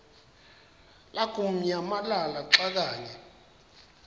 lamukunyamalala xa kanye